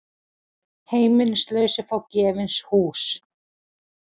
Heimilislausir fá gefins hús